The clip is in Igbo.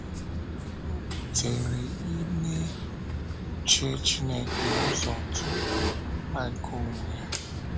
Ọ bùtèrè ime uche Chineke ụzọ tupu mkpa nke onwe ya.